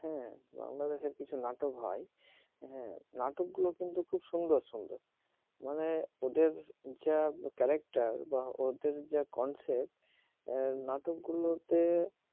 বাংলাদেশের কিছু নাটক হয় হ্যাঁ নাটকগুলো কিন্তু খুব সুন্দর সুন্দর মানে ওদের যা contract বা ওদের যা concept নাটকগুলোতে